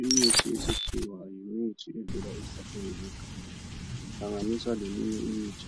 Imithi yesikhiwa yimithi emnandi ihlanganiswa leminye imithi